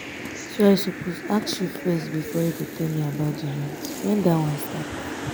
so i suppose ask you first before you go tell me about the rent? when dat one start?